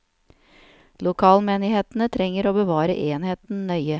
Lokalmenighetene trenger å bevare enheten nøye.